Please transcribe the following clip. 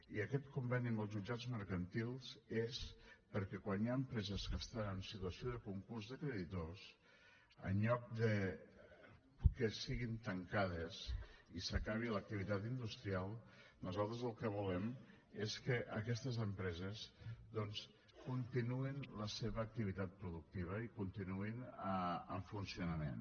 i aquest conveni amb els jutjats mercantils és perquè quan hi ha empreses que estan en situació de concurs de creditors en lloc que siguin tancades i s’acabi l’activitat industrial nosaltres el que volem és que aquestes empreses doncs continuïn la seva activitat productiva i continuïn en funcionament